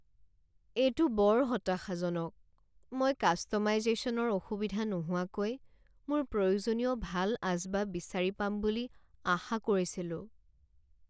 এইটো বৰ হতাশাজনক, মই কাষ্ট'মাইজেশ্যনৰ অসুবিধা নোহোৱাকৈ মোৰ প্ৰয়োজনীয় ভাল আচবাব বিচাৰি পাম বুলি আশা কৰিছিলোঁ।